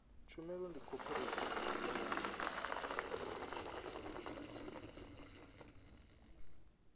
tshumelo ndi khophorethivi ine ya